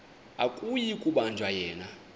akuyi kubanjwa yena